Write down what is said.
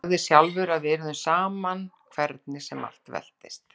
Þú sagðir sjálfur að við yrðum áfram saman hvernig sem allt veltist.